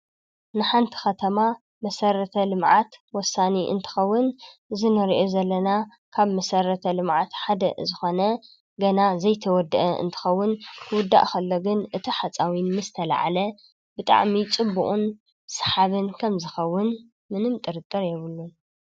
ንሓንቲ ከተማ መሰረተ ልምዓት ወሳኒ እንትኸውን እዚ ንርእዮ ዘለና ካብ መሰረተ ልምዓት ሓደ ዝኾነ ገና ዘይተወድአ እንትኸውን ክውዳእ ከሎ ግን እቲ ሓፃዊን ምስ ተላዓለ ብጣዕሚ ፅቡቕን ሰሓብን ከምዝኸውን ምንም ጥርጥር የብሉን።